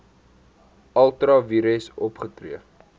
ultra vires opgetree